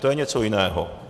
To je něco jiného.